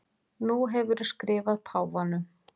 Nú hefurðu skrifað páfanum.